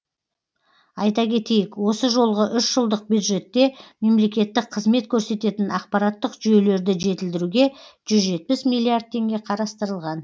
айта кетейік осы жолғы үш жылдық бюджетте мемлекеттік қызмет көрсететін ақпараттық жүйелерді жетілдіруге жүз жетпіс миллиард теңге қарастырылған